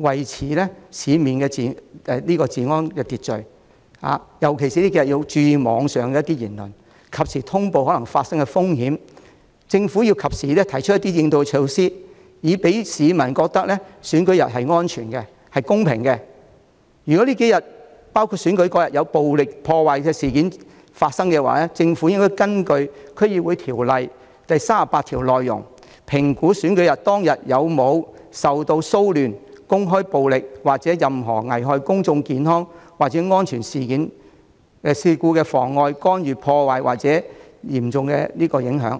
維持市面治安和秩序，尤其是要注意網上言論，及時通報可能發生的風險。政府要及時提出一些應對措施，好讓市民覺得選舉日是安全和公平的。如果這數天發生暴力破壞事件，政府應該根據《區議會條例》第38條，評估選舉當天有否受騷亂、公開暴力或任何危害公眾健康或安全的事故妨礙、干擾、破壞或嚴重影響。